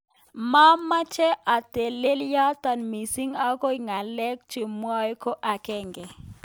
momeche atelele yotok missing akoek ngalek chomwoei ko akenge